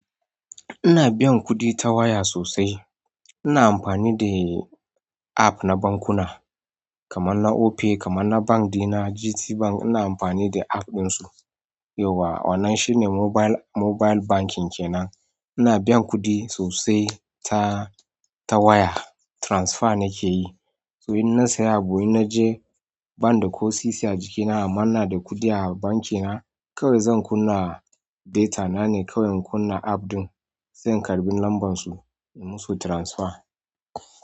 Ina biyan kuɗi ta waya sosai. Ina amfani dai app na bankuna. Kaman na Opay, kaman na bank ɗina, GTBank ina amfani da app ɗinsu. Yau wa, wannan shine mobile, mobile banking kenan. Ina biyan kuɗi sosai ta, ta waya. Transfer nake yi. To in na saya abu inna je bank da ko sisi a jikina amma ina da kuɗi a banki na. Kawai zan kunna data na ne, kawai in kunna app ɗin, sai in karɓi lambar su, in musu transfer.